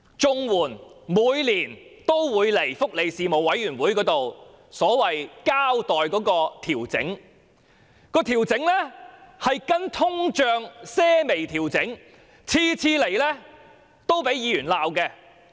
政府每年也會向福利事務委員會交代綜援金額的調整，根據通脹作出微調，每次也遭議員批評。